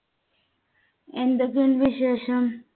എന്തൊക്കെയുണ്ട് വിശേഷം?